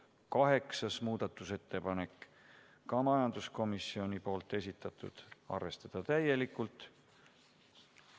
8. muudatusettepanek, ka majanduskomisjoni esitatud, arvestada täielikult.